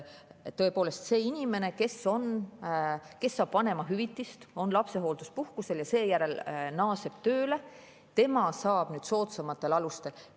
Tõepoolest, see inimene, kes saab vanemahüvitist, on lapsehoolduspuhkusel ja seejärel naaseb tööle, saab nüüd soodsamatel alustel.